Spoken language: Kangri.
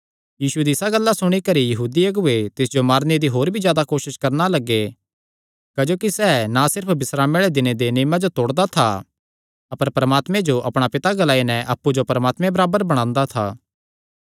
यीशु दी इसा गल्ला सुणी करी यहूदी अगुऐ तिस जो मारने दी होर भी जादा कोसस करणा लग्गे क्जोकि सैह़ ना सिर्फ बिस्रामे आल़े दिने दे नियमे जो तोड़दा था अपर परमात्मे जो अपणा पिता ग्लाई नैं अप्पु जो परमात्मे बराबर बणांदा था